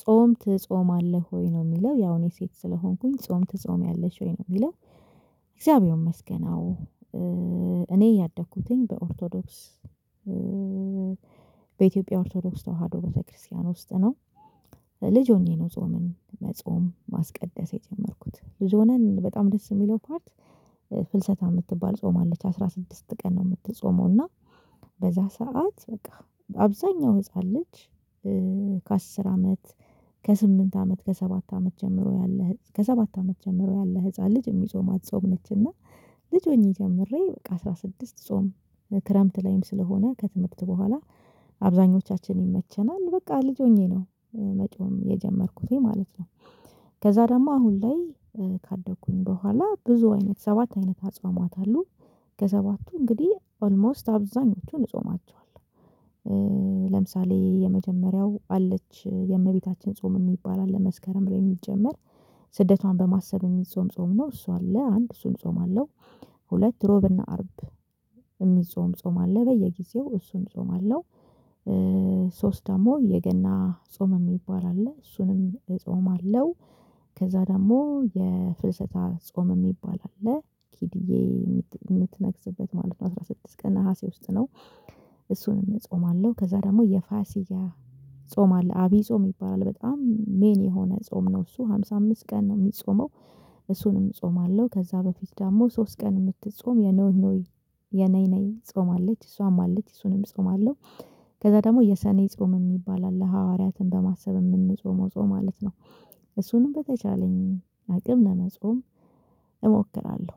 ጾም ትጾማልህ ወይ ነው የሚለው ያው እኔ ሴት ስለሆንኩኝ ጾም ትጾሚያለሽ ወይ ነው የሚለው? እግዚአብሔር ይመስገን አዎ። እኔ ያደኩትኝ በኦርቶዶክስ በኢትዮጵያ ኦርቶዶክስ ተዋህዶ ቤተክርስቲያን ውስጥ ነው። ልጅ ሆኜ ነው ጾምን መጾም ማስቀደስ የጀመርኩት ብዙ ሆነን በጣም ደስ የሚለው ፓርት። ፍልሰታ የምትባል ጾማለች አለች አስራ ስድስት ቀን ነው የምትጾመው እና። በዛ ሰዓት በቃ አብዛኛው ህፃን ልጅ። ከአስር አመት ከስምንት አመት ከሰባት አመት ጀምሮ ያለ ከሰባት አመት ጀምሮ ያለ ህፃን ልጅ የሚጾማት ጾም ነችና። ልጅ ሆኜ ጀምሬ በቃ አስራ ስድስት ጾም። ክረምት ላይም ስለሆነ ከትምህርት በኋላ አብዛኞቻችን ይመቸናል። በቃ ልጅ ሆኜ ነው መጾም የጀመርኩትኝ ማለት ነው። ከዛ ደግሞ አሁን ላይ ካደኩኝ በኋላ ብዙ አይነት ሰባት አይነት አጽዋማት አሉ። ከሰባቱ እንግዲህ ኦልሞስት አብዛኞቹን እጾማቸዋለሁ። ለምሳሌ የመጀመሪያው አለች የእመቤታችን ጾም የሚባል አለ መስከረም የሚጀመር። ስደቷን በማሰብ የሚጾም ጾም ነው እሱ አለ አንድ እሱን እጾማለው። ሁለት እሮብና አርብ የሚጾም ጾም አለ በየጊዜው እሱን እጾማለው። ሶስት ደግሞ የገና ጾም የሚባል አለ እሱንም እጾማለው። ከዛ ደግሞ የፍልሰታ ጾም የሚባል አለ ኪድዬ የምትነግስበት ማለት አስራ ስድስት ቀን ነሀሴ ውስጥ ነው። እሱንም እጾማለሁ ከዛ ደግሞ የፋሲካ ጾም አለ ዐብይ ጾም ይባላል በጣም ሜን የሆነ ጾም ነው እሱ አምሳ አምስት ቀን ነው የሚጾመው። እሱንም እጾማለሁ ከዛ በፊት ደግሞ ሶስት ቀን የምትጾም የኖህ ኖይ የነይ ነይ ጾማለች እሷም አለች እሱንም እጾማለሁ። ከዛ ደግሞ የሰኔ ጾም የሚባል አለ ሐዋርያትን በማሰብ የምንጾመው ጾም ማለት ነው። እሱንም በተቻለኝ አቅም ለመጾም እሞክራለሁ።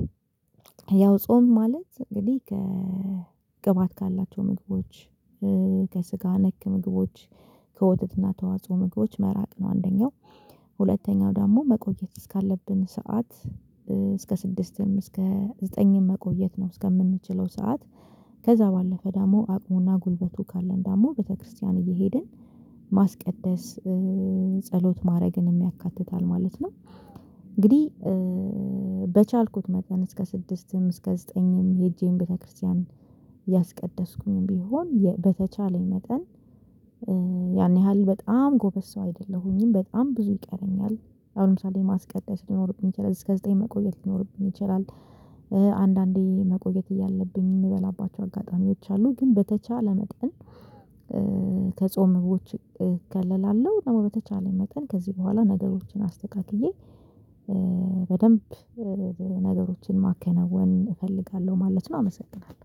ያው ጾም ማለት እንግዲህ ከቅባት ካላቸው ምግቦች። ከስጋ ነክ ምግቦች። ከወተትና ተዋጽኦ ምግቦች መራቅ ነው አንደኛው። ሁለተኛው ደግሞ መቆየት እስካለብን ሰዓት እስከ ስድስትም እስከ ዘጠኝም መቆየት ነው እስከምንችለው ሰዓት። ከዛ ባለፈ ደግሞ አቅሙና ጉልበቱ ካለን ደግሞ ቤተክርስቲያን እየሄድን ማስቀደስ ጸሎት ማድረግንም ያካትታል ማለት ነው። እንግዲህ በቻልኩት መጠን እስከ ስድስትም እስከ ዘጠኝም ሄጄም ቤተክርስቲያን ያስቀደስኩኝም ቢሆን በተቻለኝ መጠን። ያን ያህል በጣም ጎበዝ ሰው አይደለሁኝም በጣም ብዙ ይቀረኛል። አሁን ለምሳሌ ማስቀደስ ሊኖርብን ይችላል እስከ ዘጠኝ መቆየት ሊኖርብን ይችላል። አንዳንዴ መቆየት እያለብኝ የምበላባቸው አጋጣሚዎች አሉ። ግን በተቻለ መጠን። ከጾም ምግቦች እከለከላለው ደግሞ በተቻለኝ መጠን ከዚህ በኋላ ነገሮችን አስተካክዬ። በደንብ ነገሮችን ማከናወን እፈልጋለሁ ማለት ነው። አመሰግናለሁ።